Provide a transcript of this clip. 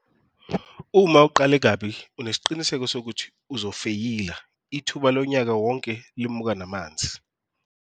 Uma uqale kabi unesiqiniseko sokuthi uzofeyila - ithuba lonyaka wonke limuka namazi.